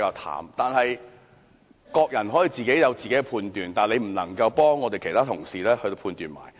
然而，各人皆有各自的判斷，他不能夠替其他同事判斷。